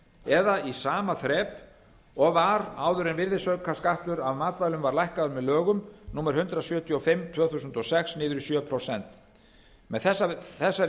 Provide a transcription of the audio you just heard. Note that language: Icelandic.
eða í sama þrep og var áður en virðisaukaskattur af matvælum var lækkaður með lögum númer hundrað sjötíu og fimm tvö þúsund og sex niður í sjö prósent með þessari